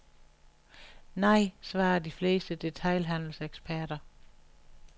Nej, svarer de fleste detailhandelseksperter.